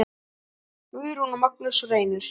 Guðrún og Magnús Reynir.